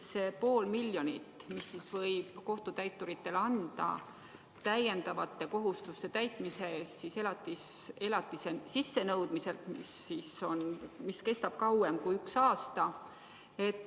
Pool miljonit võib kohtutäituritele anda täiendavate kohustuste täitmise eest elatise sissenõudmisel, kui see kestab kauem kui üks aasta.